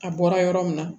A bɔra yɔrɔ min na